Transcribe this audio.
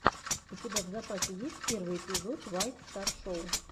у тебя в запасе есть первый эпизод вайт стар шоу